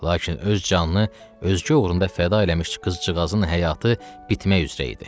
Lakin öz canını özgə uğrunda fəda eləmiş qızcığazın həyatı bitmək üzrə idi.